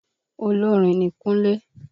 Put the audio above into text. Olórin ni Kúnlé.